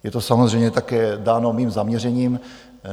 Je to samozřejmě také dáno mým zaměřením.